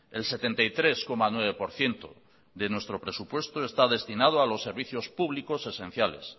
el setenta y tres coma nueve por ciento de nuestro presupuesto está destinado a los servicios públicos esenciales